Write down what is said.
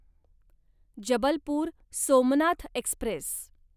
Jabalpur Somnath Express